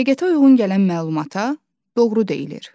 Həqiqətə uyğun gələn məlumata doğru deyilir.